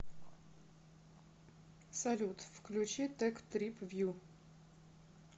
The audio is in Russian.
салют включи тек трип вью